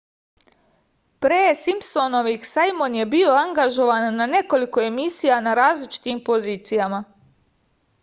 pre simpsonovih sajmon je bio angažovan na nekoliko emisija na različitim pozicijama